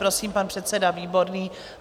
Prosím, pan předseda Výborný.